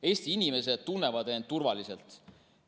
Eesti inimesed tunnevad end turvaliselt.